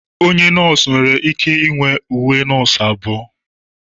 Onye nọọsụ nwere ike inwe abụọ.